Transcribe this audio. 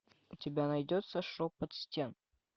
у тебя найдется шепот стен